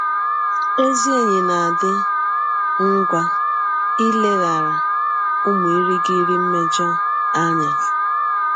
Ezị enyi na - adị ngwa ileghara ụmụ ịrịghiri mmejọ anya.